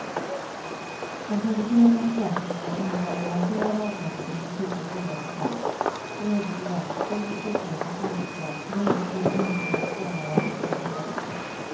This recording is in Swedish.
Den traditionella försäkringen innebär garanterad avkastning med cirka fyra procent och erbjuder därför större trygghet än fondförsäkring där den enskilde spararen bär hela risken.